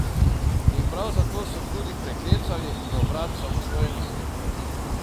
In prav zato so tudi priklecali do vrat samostojnosti.